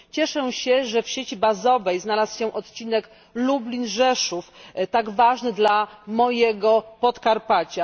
Cieszę się, że w sieci bazowej znalazł się odcinek Lublin Rzeszów tak ważny dla mojego Podkarpacia.